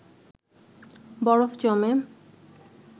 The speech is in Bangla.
বরফ জমে